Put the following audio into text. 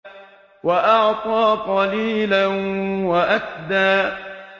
وَأَعْطَىٰ قَلِيلًا وَأَكْدَىٰ